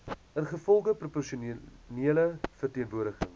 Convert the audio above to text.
ingevolge proporsionele verteenwoordiging